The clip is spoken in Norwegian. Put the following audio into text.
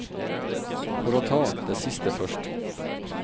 For å ta det siste først.